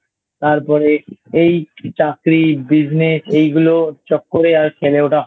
তারপরে এই চাকরি Business এইগুলো চক্করে আর খেলে ওঠা হয়নি I